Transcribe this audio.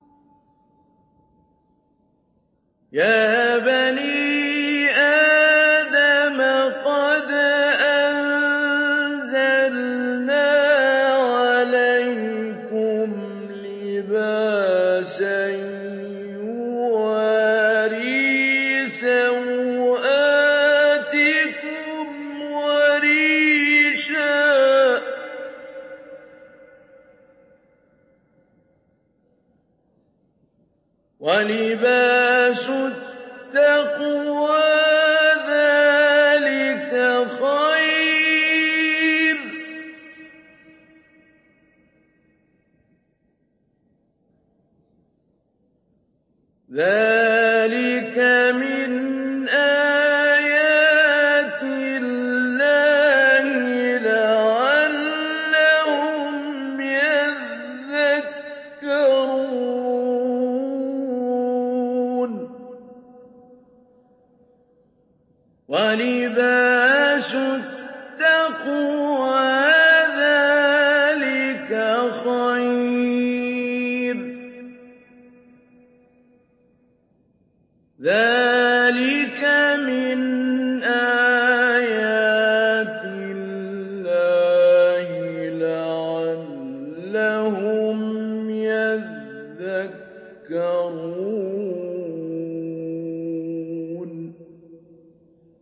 يَا بَنِي آدَمَ قَدْ أَنزَلْنَا عَلَيْكُمْ لِبَاسًا يُوَارِي سَوْآتِكُمْ وَرِيشًا ۖ وَلِبَاسُ التَّقْوَىٰ ذَٰلِكَ خَيْرٌ ۚ ذَٰلِكَ مِنْ آيَاتِ اللَّهِ لَعَلَّهُمْ يَذَّكَّرُونَ